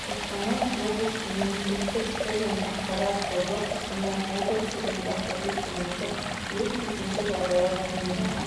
қостанай облысының мемлекеттік тіл және ақпарат тобы қостанай облысы және баспасөз қызметі өрт төтенше жағдайлар туындаған